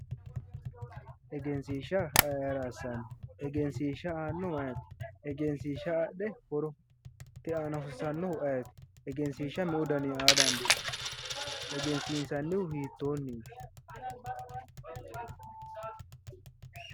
Egensiishsha ayi ayiira ssanno? egensiishsha aannohu ayeeti? egensiishsha adhe mitte horo aana hosiisannohu ayeeti? egensiishsha meu daninni aa dandiinayi? egensiinsannihu hiittoonniiti?